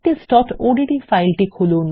practiceওডিটি ফাইলটি খুলুন